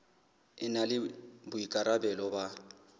e na le boikarabelo ba